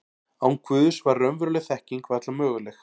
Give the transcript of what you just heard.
Án Guðs var raunveruleg þekking varla möguleg.